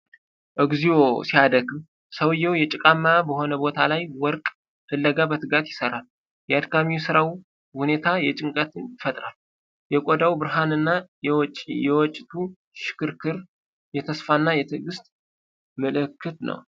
እግዚኦ ሲያደክም! ሰውዬው ጭቃማ በሆነ ቦታ ላይ ወርቅ ፍለጋ በትጋት ይሰራል። የአድካሚ ስራው ሁኔታ ጭንቀትን ይፈጥራል። የቆዳው ብርሃን እና የወጭቱ ሽክርክር የተስፋ እና የትዕግስት ምልክት ነው።